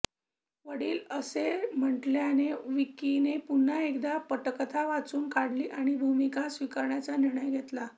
वडील असे म्हटल्याने विक्कीने पुन्हा एकदा पटकथा वाचून काढली आणि भूमिका स्वीकारण्याचा निर्णय घेतला